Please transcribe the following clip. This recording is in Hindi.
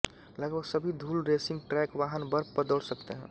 लगभग सभी धूल रेसिंग ट्रैक वाहन बर्फ पर दौड़ सकते हैं